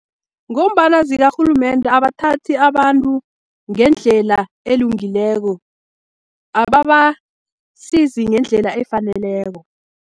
Ngombana zikarhulumende abathathi abantu ngendlela elungileko, ababasizi ngendlela efaneleko.